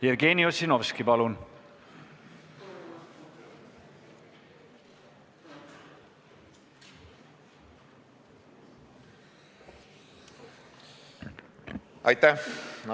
Jevgeni Ossinovski, palun!